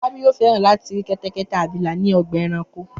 Fọlábí yóò fẹ́ràn láti rí kẹ́tẹ́kẹ́tẹ́ abilà ní ọgbà-ẹranko.